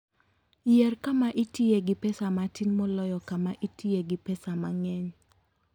Yier kama itiye gi pesa matin moloyo kama itiye gi pesa mang'eny.